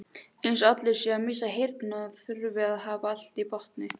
Eins og allir séu að missa heyrnina og þurfi að hafa allt í botni.